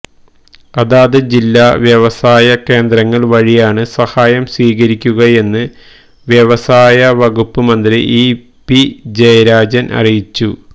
അതത് ജില്ലാ വ്യവസായ കേന്ദ്രങ്ങള് വഴിയാണ് സഹായം സ്വീകരിക്കുകയെന്ന് വ്യവസായ വകുപ്പ് മന്ത്രി ഇ പി ജയരാജൻ അറിയിച്ചു